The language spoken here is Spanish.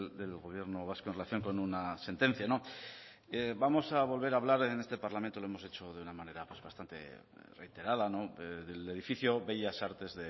del gobierno vasco en relación con una sentencia vamos a volver a hablar en este parlamento lo hemos hecho de una manera bastante reiterada del edificio bellas artes